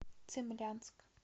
цимлянск